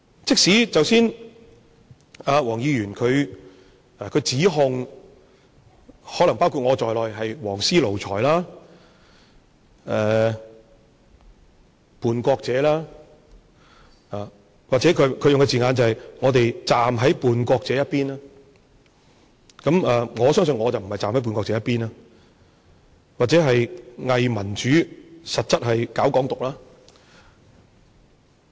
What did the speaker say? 即使剛才何議員指控我們，可能包括我在內，是"黃絲奴才"、叛國者，或者他用的字眼是我們站在叛國者一邊，我相信我不是站在叛國者一邊，或者是偽民主，實質是搞"港獨"。